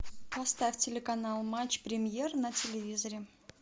поставь телеканал матч премьер на телевизоре